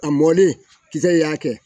A mɔlen kisɛ y'a kɛ